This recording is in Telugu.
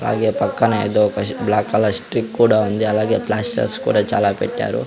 తాగే పక్కన ఏదో ఒక బ్లాక్ కలర్ స్టిక్ కూడా ఉంది అలాగే ప్లాస్టర్స్ కూడా చాలా పెట్టారు.